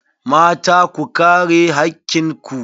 Mata, ku kare hakkin ku.